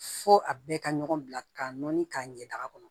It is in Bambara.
Fɔ a bɛɛ ka ɲɔgɔn bila ka nɔni k'a ɲɛ da kɔnɔ